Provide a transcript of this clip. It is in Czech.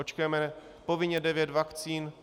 Očkujeme povinně devět vakcín.